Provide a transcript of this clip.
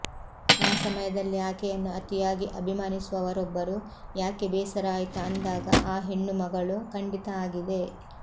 ಆ ಸಮಯದಲ್ಲಿ ಆಕೆಯನ್ನು ಅತಿಯಾಗಿ ಅಭಿಮಾನಿಸುವವರೊಬ್ಬರು ಯಾಕೆ ಬೇಸರ ಆಯ್ತಾ ಅಂದಾಗ ಆ ಹೆಣ್ಣುಮಗಳು ಖಂಡಿತ ಆಗಿದೆ